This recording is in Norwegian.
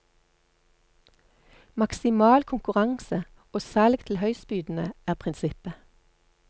Maksimal konkurranse og salg til høystbydende er prinsippet.